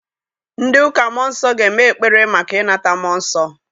Ndị ụka mmụọ nsọ ga-eme ekpere maka ịnata mmụọ nsọ.